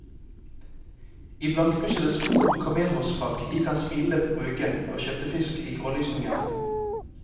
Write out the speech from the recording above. I blankpussede sko og kamelhårsfrakk gikk han smilende på brygga og kjøpte fisk i grålysningen.